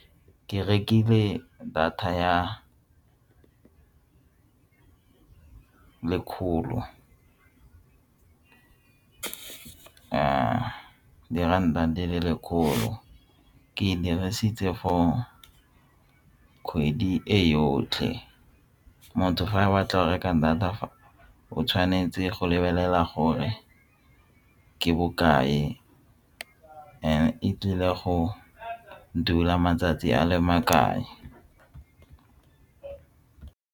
Ke rekile data ya lekgolo diranta di le lekgolo ke dirisitse for kgwedi e yotlhe motho fa a batla reka data o tshwanetse go lebelela gore ke bokae and-e e tlile go dula matsatsi a le makae.